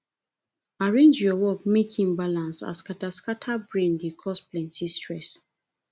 arrange your work mek im balance as skataskata brain dey cause plenti stress